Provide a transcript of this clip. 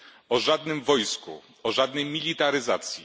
o żadnym wojsku, o żadnej militaryzacji.